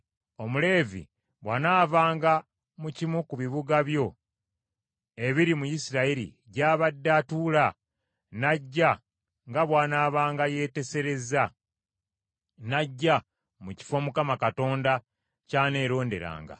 Omuleevi bw’anaavanga mu kimu ku bibuga byo ebiri mu Isirayiri gy’abadde atuula, n’ajja nga bw’anaabanga yeeteeserezza, n’ajja mu kifo Mukama Katonda ky’aneeronderanga,